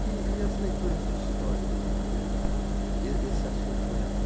E as leituras de história, como é que esse assunto entra?